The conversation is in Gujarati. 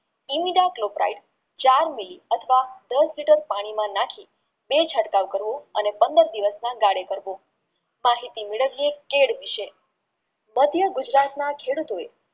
ચાર Mili અથવા દસ liter પાણીમાં નાખી ને ચટકાવ કરવો અને પંદર દિવસમાં ગાળો કરવો માહિતી મેળવીયે કેળ વિષે માધ્ય ગુજરાતના ખેડૂતો એ